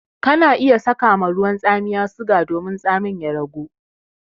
Kana iya saka ma ruwan tsamiya suga domin tsamin ya ragu.